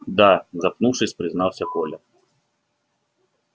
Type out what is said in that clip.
да запнувшись признался коля